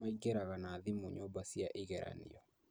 Maingĩraga na thimũ nyumba cia igeranio